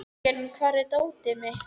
Jörgen, hvar er dótið mitt?